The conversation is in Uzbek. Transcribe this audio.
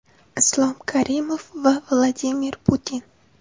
Islom Karimov va Vladimir Putin.